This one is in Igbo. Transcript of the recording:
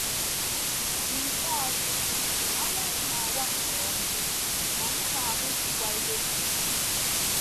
N’ikpeazụ, anyanwụ na - awa nke ọma, anyị na - ahụzukwa ihe nile.